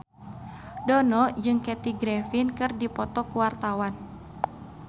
Dono jeung Kathy Griffin keur dipoto ku wartawan